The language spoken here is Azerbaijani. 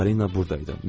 Polina buradaydı.